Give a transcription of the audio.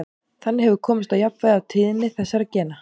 Þannig hefur komist á jafnvægi á tíðni þessara gena.